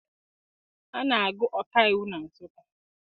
A na-agụ ọkaiwu na Nsụka